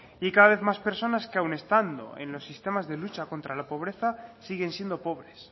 y cada vez más personas que aun estando en los sistemas de lucha contra la pobreza siguen siendo pobres